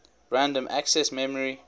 random access memory